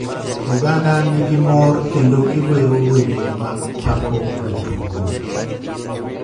Oganda ni gi mor kendo gi wero wende mag pako jtugo